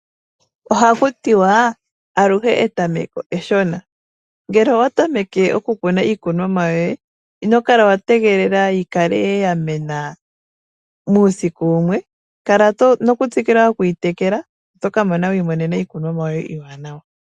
Ohakutiwa aluhe etameko eshona. Ngele owatameke okukuna iikunomwa yoye, ino kala wa tegelela yikale yamena muusiku wumwe, kala nokut sikila okuyitekela oto kamona wiimonena iikunomwa yohe iiwanawa.